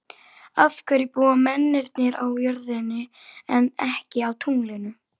Af hverju búa mennirnir á jörðinni en ekki á tunglinu?